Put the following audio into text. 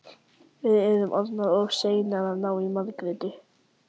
Við erum orðnar of seinar að ná í Margréti.